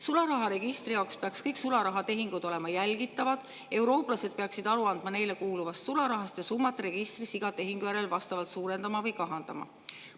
Sularaharegistri jaoks peaks kõik sularahatehingud olema jälgitavad, eurooplased peaksid aru andma neile kuuluvast sularahast ja summat registris iga tehingu järel kas suurendama või kahandama.